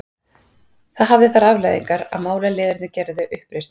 Það hafði þær afleiðingar að málaliðarnir gerðu uppreisn.